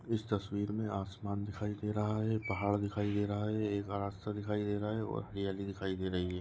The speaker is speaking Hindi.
इस तस्वीर मे आसमान दिखाई दे रहा है पहाड़ दिखाई दे रहा है एक रास्ता दिखाई दे रहा है और हरियाली दिखाई दे रही है।